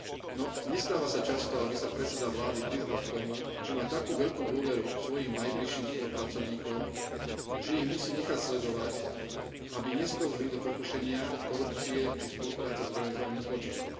No, nestáva sa často, aby sa predseda vlády priznal k tomu, že má takú veľkú dôveru k svojim najbližším spolupracovníkom, že ich musí nechať sledovať, aby neskĺzli do pokušenia korupcie či spolupráce s organizovaným zločinom.